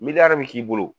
Miliyɔn bi k'i bolo